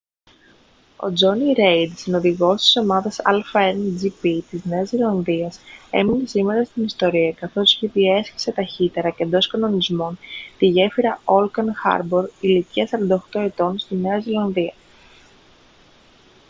ο τζόνι ρέιντ συνοδηγός της ομάδας a1gp της νέας ζηλανδίας έμεινε σήμερα στην ιστορία καθώς διέσχισε ταχύτερα και εντός κανονισμών τη γέφυρα ώκλαντ χάρμπορ ηλικίας 48 ετών στη νέα ζηλανδία